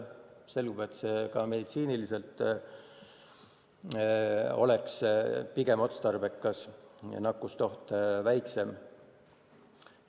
Selgub, et see on ka meditsiiniliselt pigem otstarbekas, nakkusoht on väiksem.